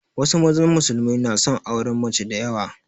Wasu mazan musulmai na son auren mace da yawa